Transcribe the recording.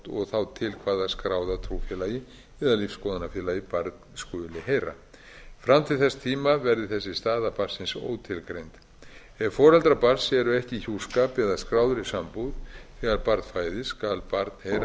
og þá til hvaða skráða trúfélagi eða lífsskoðunarfélagi barn skuli heyra fram til þess tíma verði þessi staða barnsins ótilgreind ef foreldrar barns eru ekki í hjúskap eða skráðri sambúð þegar barn fæðist skal barn heyra